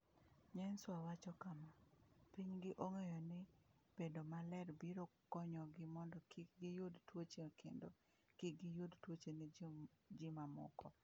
Nyenswah wacho kama: “Pinygi ong’eyo ni bedo maler biro konyogi mondo kik giyud tuoche kendo kik giyud tuoche ne ji mamoko.”